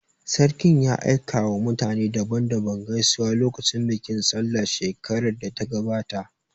Sarkin ya aika wa mutane daban daban gaisuwa lokacin bikin sallah shekarar da ta gabata